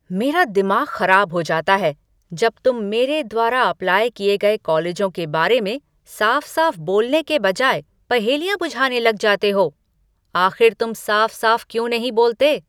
मेरा दिमाग खराब हो जाता है जब तुम मेरे द्वारा अप्लाई किए गए कॉलेजों के बारे में साफ साफ बोलने के बजाय पहेलियाँ बुझाने लग जाते हो। आख़िर तुम साफ साफ क्यों नहीं बोलते?